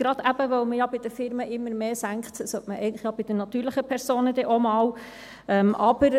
gerade eben, weil man ja bei den Firmen immer mehr senkt, sollte man es eigentlich auch bei den natürlichen Personen dann einmal tun.